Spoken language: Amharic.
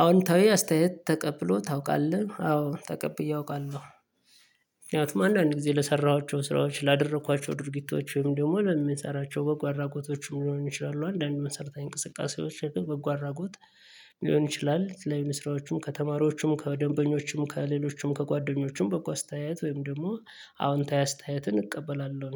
አዎንታዊ አስተያየት ተቀብሎ ታውቃለህ? አዎ ተቀብዬ አውቃለሁ። ምክንያቱም አንዳንድ ጊዜ ለሰራኋቸው ስራዎች ላደረኳቸው ድርጊቶችም ደግሞ ለሚሰራቸው በጎ አድራጎቶችም ሊሆኑ ይችላሉ አንዳንድ መሰረታዊ እንቅስቃሴዎች በጎ አድራጎት ሊሆን ይችላል የተለያዩ ስራዎቹም ከተማሪዎቹም ከደንበኞቹም ከሌሎችም ከጓደኞቹም በጓ አስተያየት ወይም ደግሞ አዎንታዊ አስተያየትን እቀበላለሁ